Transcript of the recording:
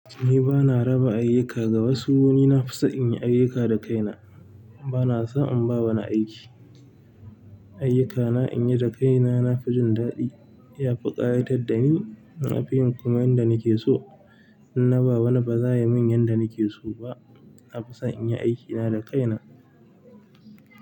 Ni ba na raba ayyuka ga wasu, ni na fi so in yi ayyuka da kaina. Ba na so in ba wani aiki. Ayyukana in yi da kaina na fi jin daɗi. Ya fi ƙayatar da ni na fi yin kuma yanda nake so. In na ba wani ba za ya min yanda nake so ba. Na fi son inyi aikina da kaina.